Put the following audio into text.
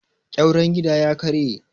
ƙyauren gida ya karye